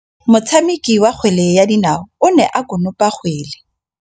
Motshameki wa kgwele ya dinaô o ne a konopa kgwele.